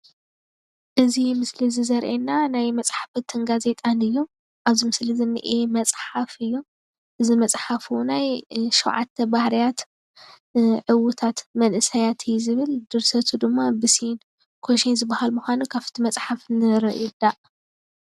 እዚ ምስሊ እዚ ዘርእየና ናይ መፅሓፍትን ጋዜጣን እዩ። ኣብዚ ምስሊ ዝኒአ መፅሓፍ እዩ። እዚ መጽሓፍ እውናይ ሸውዓተ ባህርያት ዕውታት መንእሰያት እዩ ዝብል። ድርሰቱ ድማ ብ ሴን ኮሼ ከም ዝኮን ካብቲ መጽሓፍ ንርዳእ።